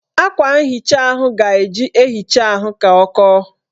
Akwa nhicha ahụ ga-eji ehicha ahụ ka ọ kọọ